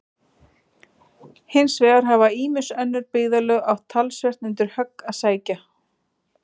Hins vegar hafa ýmis önnur byggðarlög átt talsvert undir högg að sækja.